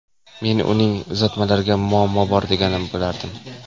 Men uning uzatmalarida muammo bor demagan bo‘lardim.